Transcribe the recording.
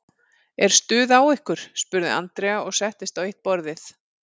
Er stuð á ykkur? spurði Andrea og settist á eitt borðið.